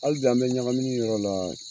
Halibi an be ɲakamini yɔrɔ la.